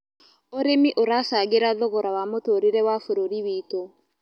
Ũrĩmĩ ũracangĩra thogora wa mũtũrĩre wa bũrũrĩ wĩtũ